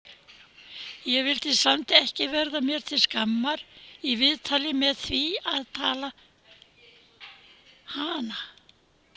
Ég vildi samt ekki verða mér til skammar í viðtali með því að tala hana!